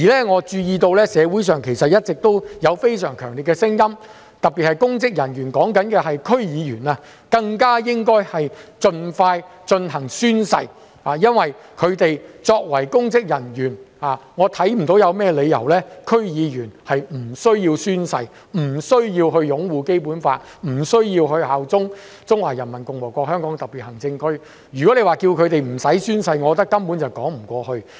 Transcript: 我注意到社會上其實一直有非常強烈的聲音，特別是公職人員——我指的是區議會議員——更應盡快進行宣誓，因為區議員作為公職人員，我看不到他們有何理由不需要宣誓、不需要擁護《基本法》、不需要效忠中華人民共和國香港特別行政區，我認為不用他們宣誓，根本說不過去。